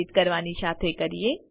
ને એડિટ કરવાની સાથે કરીએ